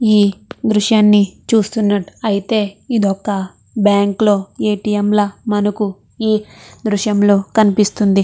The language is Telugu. ఈ దృశ్యాన్ని చూస్తున్నట్ అయితే ఇదొక బ్యాంక్ లో ఏ_టీ_ఎం లా మనకు ఈ దృశ్యం లో కనిపిస్తుంది.